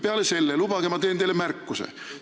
Peale selle, lubage, ma teen teile märkuse.